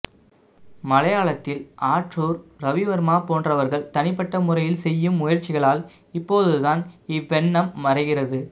மலையாளத்தில் ஆற்றூர் ரவிவர்மா போன்றவர்கள் தனிப்பட்ட முறையில் செய்யும் முயற்சிகளால் இப்போதுதான் இவ்வெண்ணம் மறைகிறது